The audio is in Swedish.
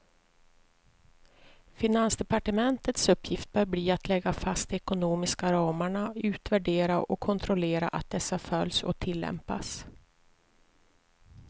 Finansdepartementets uppgift bör bli att lägga fast de ekonomiska ramarna, utvärdera och kontrollera att dessa följs och tillämpas.